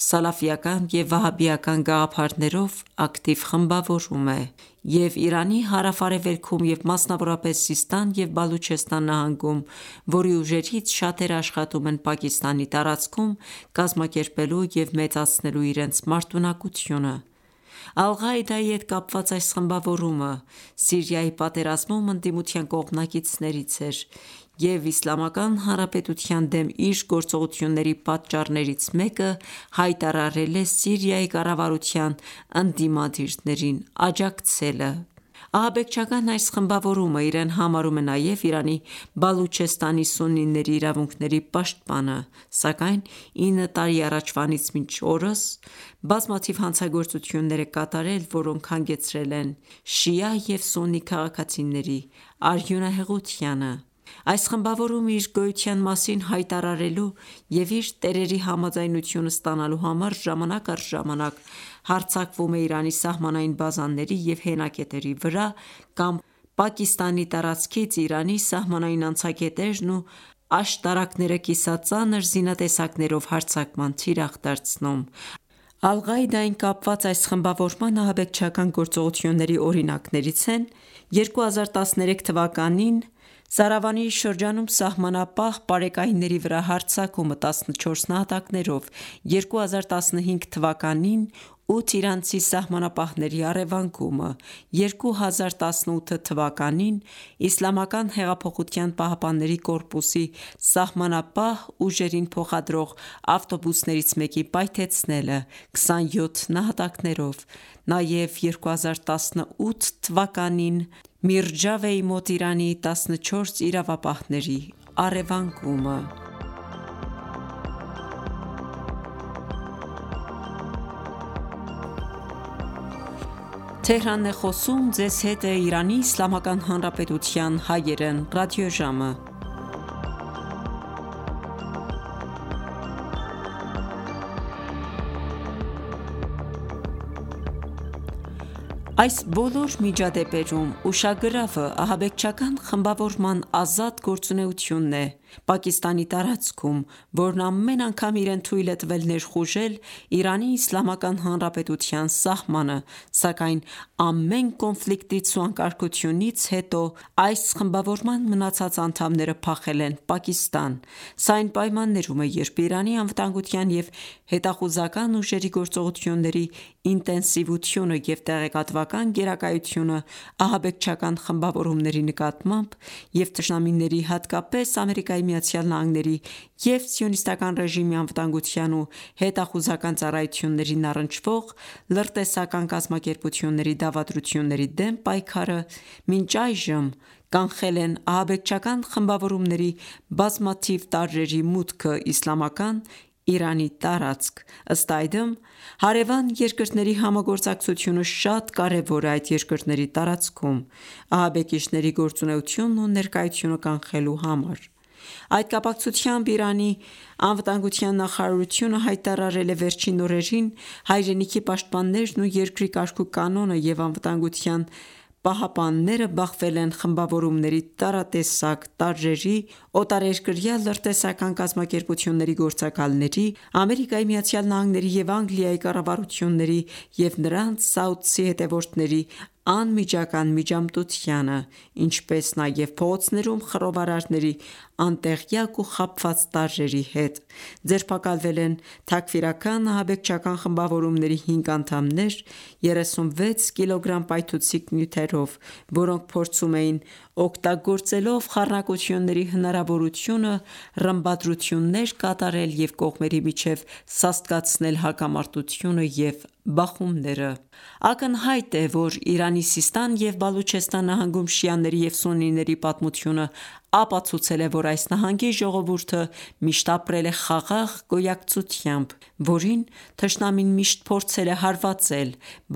սալաֆիական և վահաբիական գաղափարներով ակտիվ խմբավորում է և Իրանի հարավ-արևելքում և մասնավորապես Սիստան և Բալուչեստան նահանգում, որի ուժերից շատերը աշխատում են Պակիստանի տարածքում՝ կազմակերպելու և մեծացնելու իրենց մարտունակությունը։ Ալ-Ղաիդայի հետ կապված այս խմբավորումը Սիրիայի պատերազմում ընդդիմության կողմնակիցներից էր և Իսլամական Հանրապետության դեմ իր գործողությունների պատճառներից մեկը, հայտարարել է Սիրիայի կառավարության ընդիմադիրներին աջակցելը։ Ահաբեկչական այս խմբավորումը իրեն համարում է նաև Իրանի Բալուչեստանի սուննիների իրավունքների պաշտպանը, սակայն 9 տարի առաջվանից մինչ օրս, բազմաթիվ հանցագործություններ է կատարել, որոնք հանգեցրել են շիա և սուննի քաղաքացիների արյունահեղությանը։ Այս խմբավորումն իր գոյության մասին հայտարարելու և իր տերերի համաձայնությունը ստանալու համար, Ժամանակ առ ժամանակ հարձակվում է Իրանի սահմանային բազաների և հենակետերի վրա, կամ Պակիստանի տարածքից Իրանի սահմանային անցակետերն ու աշտարակները կիսածանր զինատեսակներով հարձակման թիրախ դարձնում: Ալ-Ղաիդային կապված այս խմբավորման ահաբեկչական գործողությունների օրինակներից են՝1392 թվականի աբան ամսին, Սարավանի շրջանում սահմանապահ պարեկայինների վրա հարձակումը ՝14 նահատակներով,1394 թվականի ֆարվարդին ամսին 8 իրանցի սահմանապահների առևանգումը,1397 թվականի բահմանին Իսլամական հեղափոխության պահապանների կորպուսի սահմանապահ ուժերին փոխադրող ավտոբուսներից մեկի պայթեցնելը 27 նահատակներով, նաև 1397 թվականին մեհր ամսին, Միրջավեի մոտ Իրանի 14 իրապահների առևանգումը: Այս բոլոր միջադեպերում ուշագրավը՝ ահաբեկչական խմբավորման ազատ գործունեությունն է Պակիստանի տարածքում, որն ամեն անգամ իրեն թույլ է տվել ներխուժել Իրանի Իսլամական Հանրապետության սահմանը ,սակայն ամեն կոնֆլիկտից ու անկարգությունից հետո այս խմբավորման մնացած անդամները փախել են Պակիստան։ Սա այն պայմաններում է, երբ Իրանի անվտանգության և հետախուզական ուժերի գործողությունների ինտենսիվությունը և տեղեկատվական գերակայությունը ահաբեկչական խմբավորումների նկատմամբ և թշնամիների, հատկապես ԱՄՆ-ի և սիոնիստական ​​ռեժիմի անվտանգության ու հետախուզական ծառայություններին առնչվող լրտեսական կազմակերպությունների դավադրությունների դեմ պայքարը, մինչ այժմ ​​կանխել են ահաբեկչական խմբավորումների բազմաթիվ տարրերի մուտքը իսլամական Իրանի տարածք:Ըստ այդմ, հարեւան երկրների համագործակցությունը շատ կարեւոր է այդ երկրների տարածքում ահաբեկիչների գործունեությունն ու ներկայությունը կանխելու համար։ Այդ կապակցությամբ Իրանի անվտանգության նախարարությունը հայտարարել է՝վերջին օրերին, հայրենիքի պաշտպաններն ու երկրի կարգ ու կանոնը և անվտանգության պահապանները բախվել են խմբավորումների տարատեսակ տարրերի, օտարերկրյա լրտեսական կազմակերպությունների գործակալների, ԱՄՆ-ի և Անգլիայի կառավարությունների և նրանց սաուդցի հետևորդների անմիջական միջամտությանը, ինչպես նաեւ՝ փողոցներում խռովարարների անտեղյակ ու խաբված տարրերի հետ:Ձերբակալվել են Թաքֆիրական-ահաբեկչական խմբավորումների 5 անդամներ՝ 36 կիլոգրամ պայթուցիկ նյութերով ,որոնք փորձում էին օգտագործելով խառնակությունների հնարավորությունը, ռմբադրություններ կատարել և կողմերի միջև սաստկացնել հակամարտությունը և բախումները: Ակնհայտ է, որ Իրանի Սիստան և Բալուչեստան նահանգում շիաների և սուննիների պատմությունը ապացուցել է, որ այս նահանգի ժողովուրդը միշտ ապրել է խաղաղ գոյակցությամբ, որին թշնամին միշտ փորձել է հարվածել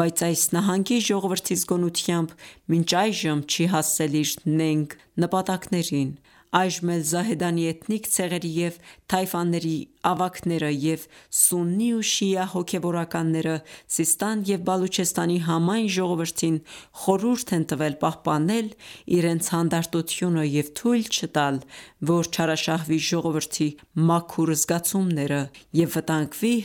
,բայց այս նահանգի ժողովրդի զգոնությամբ, մինչ այժմ չի հասել իր նենգ նպատակներին: Այժմ էլ Զահեդանի էթնիկ ցեղերի և թայֆաների ավագները, և սուննի ու շիա հոգևորականները, Սիստան և Բալուչեստանի համայն ժողովրդին խորհուրդ են տվել պահապանել իրենց հանդարտությունը և թույլ չտալ որ չարաշահվի ժողովրդի մաքուր զգացումները և վտանգվի